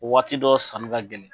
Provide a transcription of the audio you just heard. O waati dɔ sanni ka gɛlɛn.